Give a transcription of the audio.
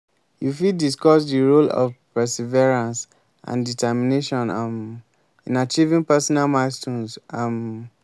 you fit discuss di role of perseverance and determination um in achieving personal milestones. um